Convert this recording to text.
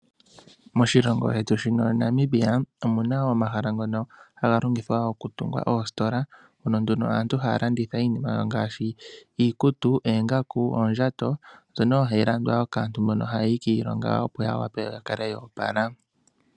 Moshilongo shetu shino Namibia omu na wo omahala ngono haga longithwa wo okutunga oositola. Mono nduno aantu haya landitha iinima yawo ngaashi iikutu, oongaku, oondjato ,mbyono wo hayi landwa wo kaantu mbono haya yi kiilonga opo ya wape ya kale ya opala.